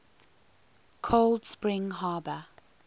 cold spring harbor